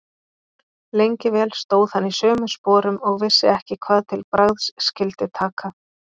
Lengi vel stóð hann í sömu sporum og vissi ekki hvað til bragðs skyldi taka.